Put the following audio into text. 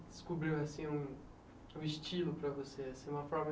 descobriu assim um o estilo para você assim, uma forma